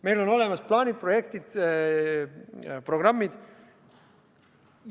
Meil on olemas plaanid, projektid, programmid.